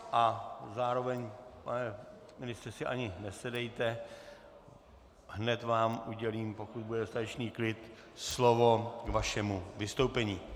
A zároveň, pane ministře, si ani nesedejte, hned vám udělím, pokud bude dostatečný klid, slovo k vašemu vystoupení.